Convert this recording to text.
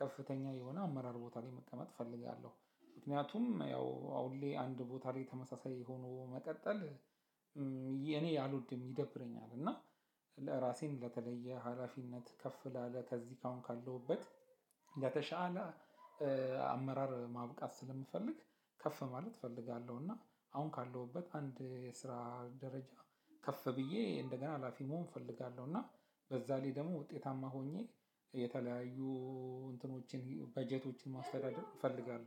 ከፍተኛ የሆነ አመራር ቦታ ላይ መቀመጥ እፈልጋለሁ። ምክንያቱም ያው አሁን ላይ አንድ ቦታ ላይ ተመሳሳይ ሆነው መቀጠል እኔ አልወድም ይደብረኛል። እና ለራሴን ለተለየ ሀላፊነት ከፍ ላለ ከዚህ አሁን ካለሁበት የተሻለ አመራር ማብቃት ስለምፈልግ። ከፍ ማለት እፈልጋለሁ እና አሁን ካለሁበት አንድ የስራ ደረጃ ከፍ ብዬ እንደገና ሀላፊ መሆን እፈልጋለሁ። እና በዛ ላይ ደግሞ ውጤታማ ሆኜ የተለያዩ እንትኖችን በጀቶችን ማስተዳደር እፈልጋለሁ